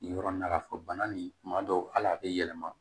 Yɔrɔ in na k'a fɔ bana nin kuma dɔw ali a bɛ yɛlɛma